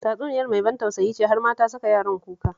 Tatsuniyar mai ban tausayi ce, har ma ta saka yaran kuka